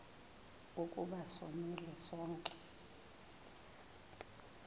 ukuba sonile sonke